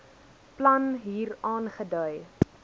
plan hier aangedui